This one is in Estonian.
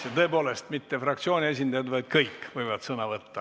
Ja tõepoolest, mitte fraktsiooni esindajad, vaid kõik võivad sõna võtta.